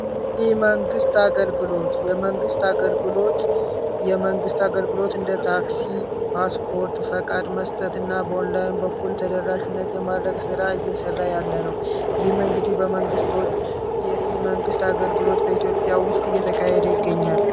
ኢመንግስት አገልግሎት የመንግስት አገልግሎት የመንግስት አገልግሎት እንደ ታክሲ፣ ፓስፖርት፣ ፈቃድ መስጠትና በኦላይን በኩል ተደራሽነት የማድረግ ስራ እየሰራ ያለ ነው። ይህም እንግዲህ የመንገድ በመንግስት የኢመንግስት አገልግሎት በኢትዮጵያ ውስጥ እየተካሄደ ይገኛል ።